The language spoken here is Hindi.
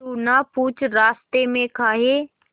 तू ना पूछ रास्तें में काहे